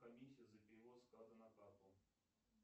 комиссия за перевод с карты на карту